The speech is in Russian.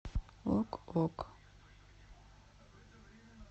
ок ок